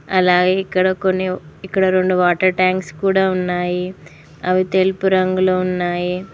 అలాగే ఇక్కడ కొన్ని ఇక్కడ రెండు వాటర్ ట్యాంక్స్ కూడా ఉన్నాయి అవి తెలుపు రంగులో ఉన్నాయి.